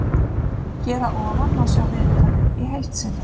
Hér að ofan má sjá viðtalið heild sinni.